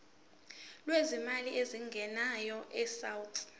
lwezimali ezingenayo abesouth